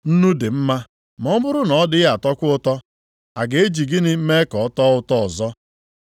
“Nnu dị mma, ma ọ bụrụ na ọ dịghị atọkwa ụtọ, a ga-eji gịnị mee ka ọ tọọ ụtọ ọzọ?